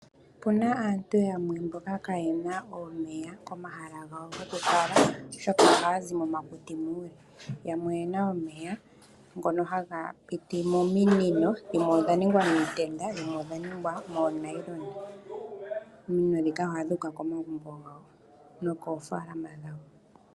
Opuna aantu yamwe mboka kaayena omeya komahala gawo goku kala oshoka ohaya zi momakuti. Yamwe oyena omeya ngono haga piti mominino. Dhimwe odha ningwa miitenda dhimwe odha ningwa moonayilona. Ominino ndhika ohadhi uka komagumbo nokoofaalama.